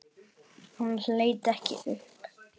Hann leit ekki upp.